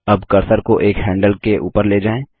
अब कर्सर को एक हैंडल के ऊपर ले जाएँ